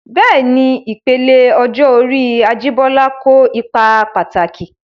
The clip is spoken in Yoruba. Bẹ́ẹ̀ni, ìpele ọjọ́ orí Ajibola kó ipa pàtàkì.